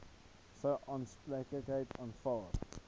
sou aanspreeklikheid aanvaar